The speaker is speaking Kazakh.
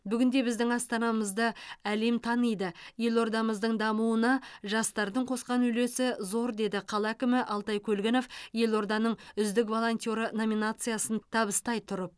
бүгінде біздің астанамызды әлем таниды елордамыздың дамуына жастардың қосқан үлесі зор деді қала әкімі алтай көлгінов елорданың үздік волонтеры номинациясын табыстай тұрып